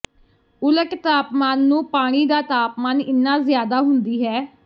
ਉਲਟ ਤਾਪਮਾਨ ਨੂੰ ਪਾਣੀ ਦਾ ਤਾਪਮਾਨ ਇੰਨਾ ਜ਼ਿਆਦਾ ਹੁੰਦੀ ਹੈ